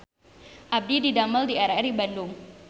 Abdi didamel di RRI Bandung